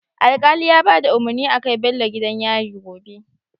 Alkali ya bada umarni a kai Bello gidan yari gobe